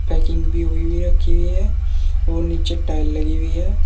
Packing भी होई हुई रखी है और नीचे टाइल लगी हुई है।